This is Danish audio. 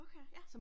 Okay ja